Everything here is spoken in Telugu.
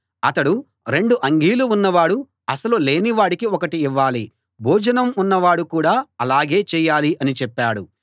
అతడు రెండు అంగీలు ఉన్నవాడు అసలు లేని వాడికి ఒకటి ఇవ్వాలి భోజనం ఉన్నవాడు కూడా ఆలాగే చేయాలి అని చెప్పాడు